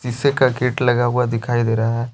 का गेट लगा हुआ दिखाई दे रहा है।